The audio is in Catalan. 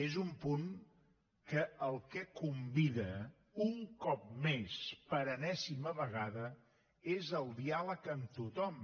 és un punt que al que convida un cop més per enèsima vegada és al diàleg amb tothom